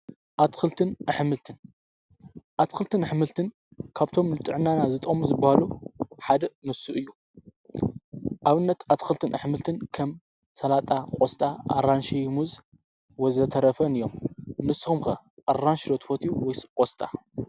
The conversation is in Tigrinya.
ንልንኣትክልትን ኣኅምልትን ካብቶም ልጥዕናና ዝጠሙ ዝበሃሉ ሓደእ ምሱ እዩ ኣብነት ኣትክልትን ኣኅምልትን ከም ሠላጣ ቖስጣ ኣራንሽሙዝ ወዘተረፈን እዮም ምስኹምከ ኣራንሽሎትፈት ወይቖስጣ።